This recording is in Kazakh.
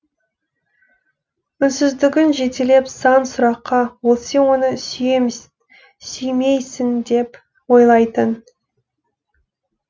үнсіздігің жетелеп сан сұраққа ол сен оны сүймейсің деп ойлайтын